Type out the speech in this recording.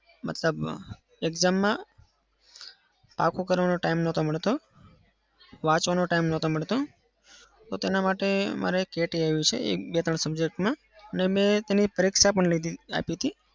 મતલબ exam માં પાક્કું કરવાનો time નતો મળતો. વાંચવાનો time નતો મળતો. તો તેના માટે મારે કે ટી આવી છે એક બે ત્રણ subject માં અને મેં પરીક્ષા પણ આપી હતી.